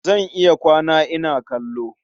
Zan iya kwana ina kallo.